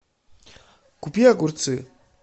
купи огурцы